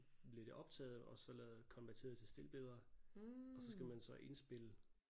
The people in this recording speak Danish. Blev det optaget og så lavet konverteret til stilbilleder og så skal man så indspille